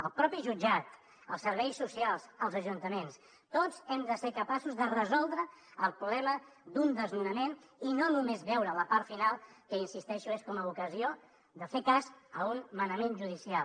el propi jutjat els serveis socials els ajuntaments tots hem de ser capaços de resoldre el problema d’un desnonament i no només veure la part final que hi insisteixo és com a ocasió de fer cas a un manament judicial